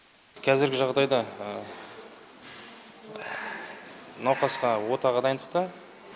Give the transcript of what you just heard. қазіргі жағдайда науқасқа отаға дайындықта